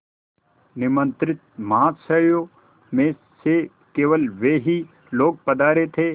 निमंत्रित महाशयों में से केवल वे ही लोग पधारे थे